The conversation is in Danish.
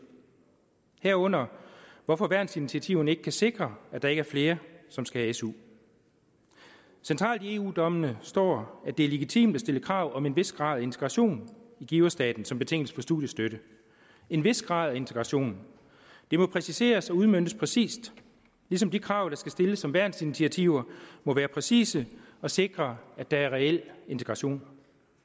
herunder hvorfor værnsinitiativerne ikke kan sikre at der ikke er flere som skal have su centralt i eu dommene står at det er legitimt at stille krav om en vis grad af integration i giverstaten som betingelse for studiestøtte en vis grad af integration det må præciseres og udmøntes præcist ligesom de krav der skal stilles som værnsinitiativer må være præcise og sikre at der er reel integration